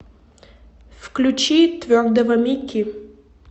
включи твердого мики